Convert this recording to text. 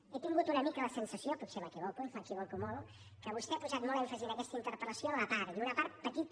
he tingut una mica la sensació potser m’equivoco i m’equivoco molt que vostè ha posat molt èmfasi en aquesta interpel·lació a la part i una part petita